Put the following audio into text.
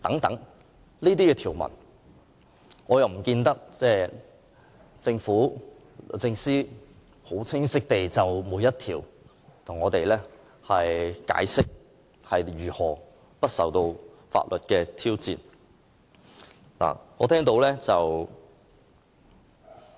關於這些條文，並不見得政府和律政司曾十分清晰地逐一向我們解釋，它們如何不受法律挑戰。